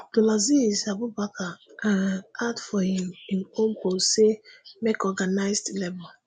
abdulaziz abubakar um add for im im ownpostsay make organised labour